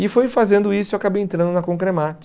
E foi fazendo isso que eu acabei entrando na Concremate.